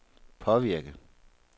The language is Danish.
påvirke